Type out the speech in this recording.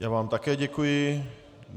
Já vám také děkuji.